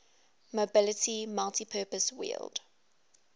mobility multipurpose wheeled